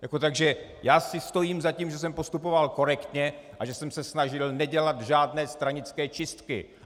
Takže já si stojím za tím, že jsem postupoval korektně a že jsem se snažil nedělat žádné stranické čistky.